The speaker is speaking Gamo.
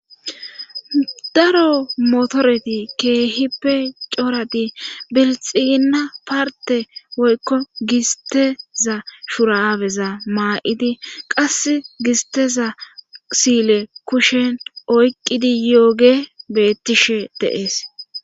daro motoreti keehippe coradi belxiina parte woykko gisteza shuraabeza maa7idi qas gisteza sile kushen oyqqidi yooge bettishe deees